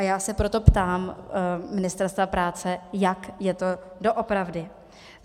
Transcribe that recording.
A já se proto ptám Ministerstva práce, jak je to doopravdy.